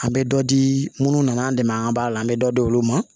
An bɛ dɔ di minnu n'an dɛmɛ an b'a la an bɛ dɔ di olu ma